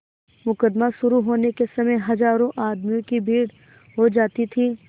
मुकदमा शुरु होने के समय हजारों आदमियों की भीड़ हो जाती थी